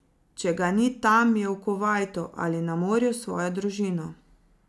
Če ga ni tam, je v Kuvajtu ali na morju s svojo družino.